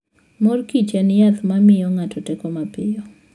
Mor Kich en yath ma miyo ng'ato teko mapiyo.